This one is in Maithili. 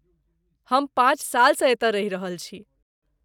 हम पाँच सालसँ एतय रहि रहल छी।